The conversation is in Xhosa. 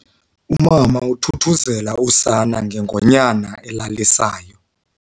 Umama uthuthuzele usana ngengonyana elalisayo.